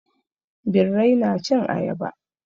Birrai na cin ayaba.